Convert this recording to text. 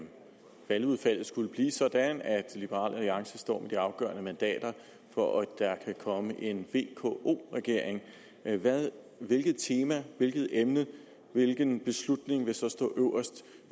valgudfaldet skulle blive sådan at liberal alliance står med de afgørende mandater for at der kan komme en vko regering hvilket tema hvilket emne hvilken beslutning vil så